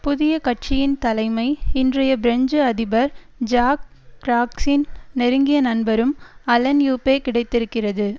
புதிய கட்சியின் தலைமை இன்றைய பிரெஞ்சு அதிபர் ஜாக் ராக்சின் நெருங்கிய நண்பரும் அலன் யூப்பே கிடைத்திருக்கின்றது